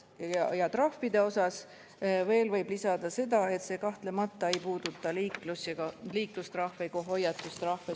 Trahvide kohta võib veel lisada seda, et see kahtlemata ei puuduta liiklus‑ ega hoiatustrahve.